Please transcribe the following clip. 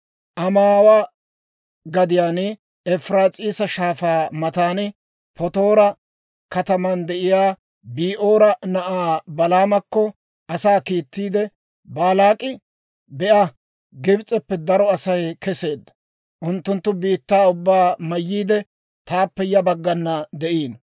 Amaawa gadiyaan Efiraas'iisa Shaafaa matan Patoora kataman de'iyaa Bi'oora na'aa Balaamakko asaa kiitteedda. Baalaak'i, «Be'a, Gibs'eppe daro Asay keseedda; unttunttu biittaa ubbaa mayyiide, taappe ya baggan de'iino.